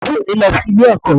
Àbúrò mi lọ sí ilé-ẹ̀kọ́